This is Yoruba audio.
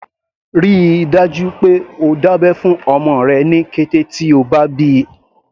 Rí i dájú pé o dá abẹ́ fún ọmọ rẹ ní kété tí o bá bíi.